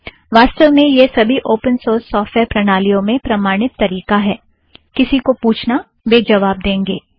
वास्तव में यह सबी ओपन सोर्स सॉफ़्टवेयर प्रणालियों में प्रमाणित तरीका है किसी को पूछना वे जवाब देंगे